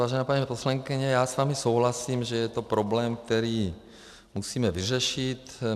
Vážená paní poslankyně, já s vámi souhlasím, že je to problém, který musíme vyřešit.